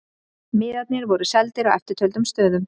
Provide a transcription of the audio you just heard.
Miðarnir voru seldir á eftirtöldum stöðum